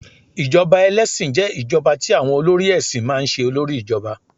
ijoba ẹlẹsin je ijoba ti awọn olórí èsìn ma n se olori ijoba